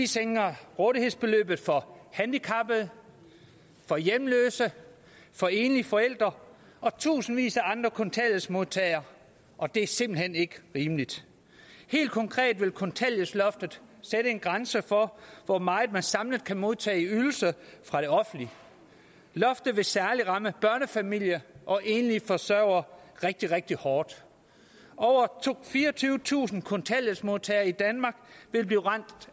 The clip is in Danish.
sænker rådighedsbeløbet for handicappede for hjemløse for enlige forældre og tusindvis af andre kontanthjælpsmodtagere og det er simpelt hen ikke rimeligt helt konkret vil kontanthjælpsloftet sætte en grænse for hvor meget man samlet kan modtage i ydelser fra det offentlige loftet vil særlig ramme børnefamilier og enlige forsørgere rigtig rigtig hårdt over fireogtyvetusind kontanthjælpsmodtagere i danmark vil blive ramt